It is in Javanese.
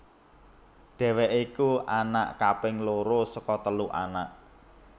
Dheweké iku anak kaping loro saka telu anak